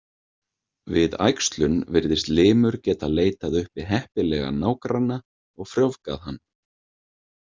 Við æxlun virðist limur getað leitað uppi heppilegan nágranna og frjóvgað hann.